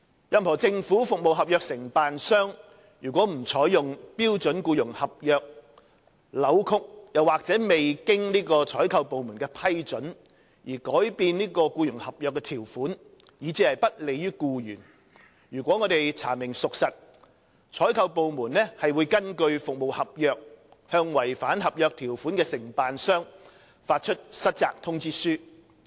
任何政府服務合約承辦商如不採用標準僱傭合約、扭曲或未經採購部門的批准而改變僱傭合約的條款，以致其不利於僱員，如查明屬實，採購部門會根據服務合約，向違反合約條款的承辦商發出失責通知書。